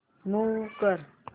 move कर